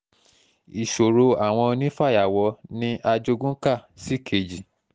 ìṣòro àwọn onífàyàwọ́ ni ajogún kà síkejì